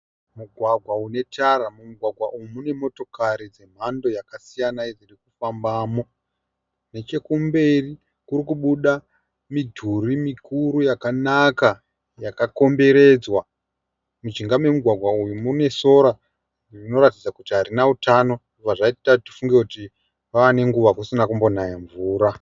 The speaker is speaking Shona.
Mugwagwa une tara, mugwagwa uyu mune motokari dzemhando yakasiyana iri kufambamo. Nechekumberi kuri kubuda midhuri mikuru yakanaka yakakomberedzwa. Mujinga memugwagwa uyu mune sora rinoratidza kuti harina hutano izvi zvinotipa kufunga kuti kwave nenguva kusina kumbonaya mvura.